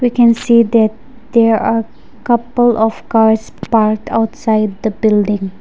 we can see that there are couple of cars parked outside the building.